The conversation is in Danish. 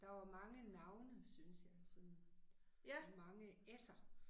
Der var mange navne synes jeg sådan. Mange s'er